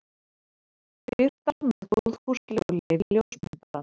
Birtar með góðfúslegu leyfi ljósmyndarans.